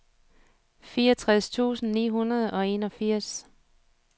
fireogtres tusind ni hundrede og enogfirs